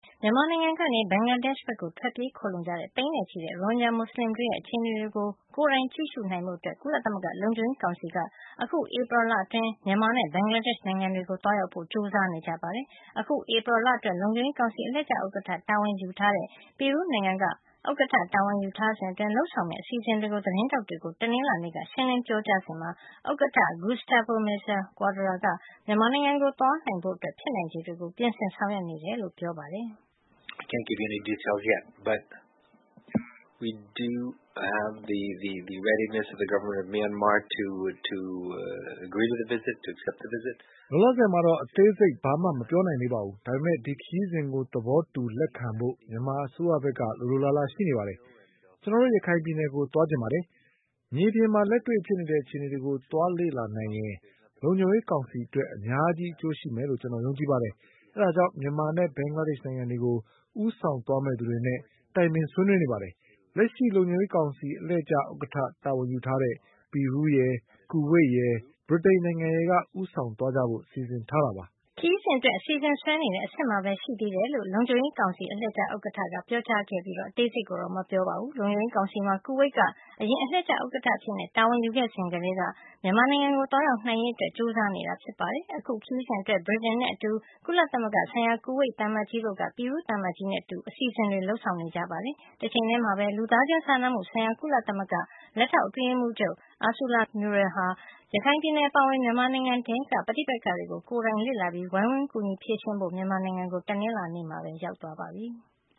မြန်မာနိုင်ငံကနေ ဘင်္ဂလားဒေ့ရှ်ဘက် ထွက်ပြေးခိုလှုံကြတဲ့ သိန်းနဲ့ချီတဲ့ ရိုဟင်ဂျာမူစလင်တွေရဲ့ အခြေအနေကို ကိုယ်တိုင်ကြည့်နိုင်ဖို့ ကုလသမဂ္ဂ လုံခြုံရေးကောင်စီက အခုဧပြီလအတွင်း မြန်မာနဲ့ ဘင်္ဂလားဒေ့ရှ် နိုင်ငံတွေကို သွားရောက်ဖို့ ကြိုးစားနေကြပါတယ်။ အခု ဧပြီ လအတွက် လုံခြုံရေးကောင်စီ အလှည့်ကျဥက္ကဋ္ဌတာဝန်ယူတဲ့ ပီရူးနိုင်ငံက ဥက္ကဋ္ဌတာဝန်ယူထားစဉ်အတွင်း လုပ်ဆောင်မယ့် အစီအစဉ်တွေကို သတင်းထောက်တွေကို တနင်္လာနေ့က ရှင်းလင်းပြောကြားစဉ်မှာ ဥက္ကဋ္ဌ Gustavo Meza-Cuadra က မြန်မာနိုင်ငံကို သွားနိုင်ဖို့ ဖြစ်နိုင်ခြေတွေကိုပြင်ဆင် ဆောင်ရွက်နေတယ်လို့ ပြောသွားတာဖြစ်ပါတယ်။ “လောလောဆယ်မှာတော့ အသေးစိတ် ဘာမှ မပြောနိုင်သေးပါဘူး။ ဒါပေမဲ့ ဒီခရီးစဉ်ကို သဘောတူ။ လက်ခံဖို့ မြန်မာအစိုးရဖက်က လိုလိုလားလားရှိနေပါတယ်။ ကျွန်တော်တို့ ရခိုင်ပြည်နယ်ကို သွားချင်ပါတယ်။ မြေပြင်မှာလက်တွေ့ဖြစ်နေတဲ့ အခြေအနေတွေကို သွားလေ့လာနိုင်ရင် လုံခြုံရေးကောင်စီအတွက် အများကြီးအကျိုးရှိမယ်လို့ ကျွန်တော်တို့ယုံကြည်ပါတယ်။ ဒါကြောင့် မြန်မာနဲ့ ဘင်္ဂလားဒေရှ့်နိုင်ငံတွေကို ဦးဆောင်သွားမယ့်သူတွေနဲ့ တိုင်ပင်ဆွေးနွေးနေပါတယ်။ လက်ရှိလုံခြုံရေးကောင်စီအလှည့်ကျ ဥက္ကဋ္ဌတာဝန်ယူထားတဲ့ ပီရူးရယ်။ ကူဝိတ်ရယ် ဗြိတိန်နိုင်ငံရယ်က ဦးဆောင်သွားကြဖို့ စီစဉ်ထားကြပါတယ်။” ခရီးစဉ်အတွက် အစီအစဉ်ဆွဲနေတဲ့ အဆင့်မှာပဲရှိသေးတယ်လို့ လုံခြုံရေးကောင်စီအလှည့်ကျဥက္ကဋ္ဌ Gustavo Meza-Cuadra ကပြောကြားခဲ့တာ ဖြစ်ပြီး အသေးစိတ်ကိုတော့ မပြောခဲ့ပါဘူး။ လုံခြုံရေးကောင်စီမှာ ကူဝိတ်က အရင်အလှည့်ကျဥက္ကဌအဖြစ ်တာဝန်ယူခဲ့စဉ်ကတည်းက မြန်မာနိုင်ငံကို သွားရောက်နိုင်ရေးအတွက် ကြိုးစားနေတာ ဖြစ်ပါတယ်။ အခု ခရီးစဉ်အတွက် ဗြိတိန်နဲ့အတူ ကုလသမဂ္ဂဆိုင်ရာ ကူဝိတ်သံအမတ်ကြီးတို့က ပီရူးသံအမတ်ကြီးနဲ့အတူ အစီစဉ်တွေ လုပ်ဆောင်နေတာ ဖြစ်ပါတယ်။ တချိန်ထဲမှာပဲ လူသားချင်းစာနာမှုဆိုင်ရာ ကုလသမဂ္ဂ လက်ထောက်အတွင်းရေးမှူးချုပ် Ursula Mueller ဟာ ရခိုင်ပြည်နယ်ပါအဝင် မြန်မာနိုင်ငံထဲက ပဋိပက္ခတွေကို ကိုယ်တိုင် လေ့လာပြီး၊ ဝိုင်းကူဖြေရှင်းပေးဖို့ မြန်မာနိုင်ငံကို တနင်္လာနေ့မှာ ရောက်ရှိသွားပါပြီ။